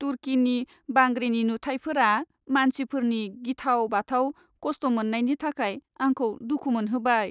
तुर्कीनि बांग्रिनि नुथाइफोरा मानसिफोरनि गिथाव बाथाव खस्थ' मोन्नायनि थाखाय आंखौ दुखु मोनहोबाय।